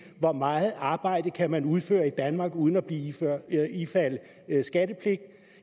hvor meget arbejde kan man udføre i danmark uden at ifalde skattepligt